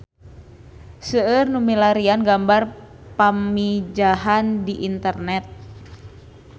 Seueur nu milarian gambar Pamijahan di internet